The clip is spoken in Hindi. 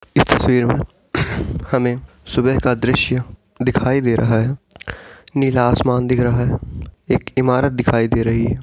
इस तस्वीर में हमें सुबह का दृश्य दिखाई दे रहा है नीला आसमान दिख रहा है एक इमारत दिखाई दे रही है।